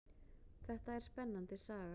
Þetta er spennandi saga.